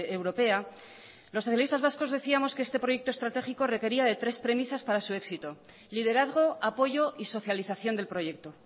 europea los socialistas vascos decíamos que este proyecto estratégico requería de tres premisas para su éxito liderazgo apoyo y socialización del proyecto